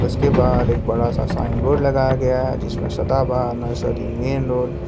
उसके बाहर एक बड़ा सा साइन बोर्ड लगाया गया जिसमें सदाबहार नर्सरी मेन रोड --